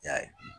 I y'a ye